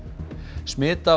smit af